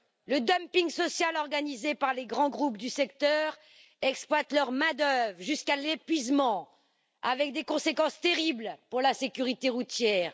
Le dumping social organisé par les grands groupes du secteur exploite leur main d'œuvre jusqu'à l'épuisement, avec des conséquences terribles pour la sécurité routière.